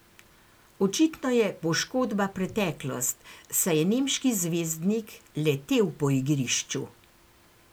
Očitno je poškodba preteklost, saj je nemški zvezdnik letel po igrišču.